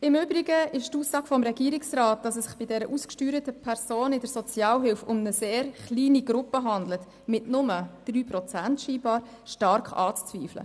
Im Übrigen ist die Aussage des Regierungsrats, wonach es sich bei diesen ausgesteuerten Personen in der Sozialhilfe um eine sehr kleine Gruppe handle, die scheinbar nur 3 Prozent ausmache, stark anzuzweifeln.